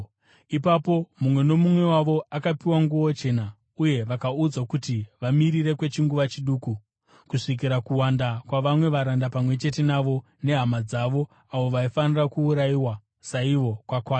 Ipapo mumwe nomumwe wavo akapiwa nguo chena, uye vakaudzwa kuti vamirire kwechinguva chiduku, kusvikira kuwanda, kwavamwe varanda pamwe chete navo nehama dzavo avo vaifanira kuurayiwa saivo, kwakwana.